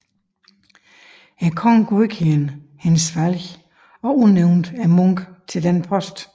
Kongen godkendte hendes valg og udnævnte munken til denne post